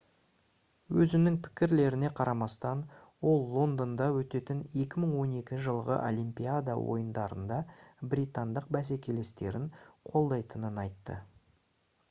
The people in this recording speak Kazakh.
өзінің пікірлеріне қарамастан ол лондонда өтетін 2012 жылғы олимпиада ойындарында британдық бәсекелестерін қолдайтынын айтты